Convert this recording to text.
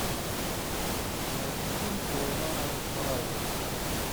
найди фильм с вайноной райдер